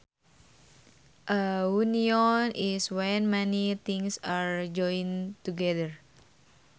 A union is when many things are joined together